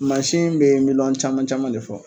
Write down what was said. Masin be miliyɔn caman caman de fɔ